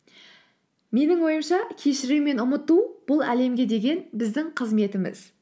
менің ойымша кешіру мен ұмыту бұл әлемге деген біздің қызметіміз